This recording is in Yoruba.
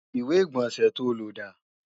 ìwé-ìgbọ̀nsẹ̀ to lò dà?